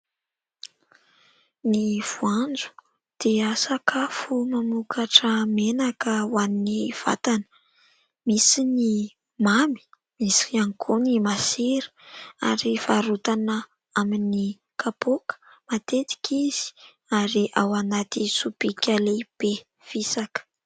Ny voanjo dia sakafo mamokatra menaka ho an'ny vatana. Misy ny mamy, misy ihany koa ny masira ary varotana amin'ny kapoaka matetika izy ary ao anaty sobika lehibe fisaka.